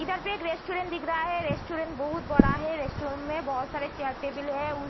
इधर पे एक रेस्टोरेंट दिख रहा है। रेस्टोरेंट बहुत बड़ा है। रेस्टोरेंट में बहोत सारे चेयर टेबिल है। उ --